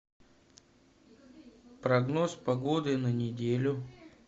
прогноз погоды на неделю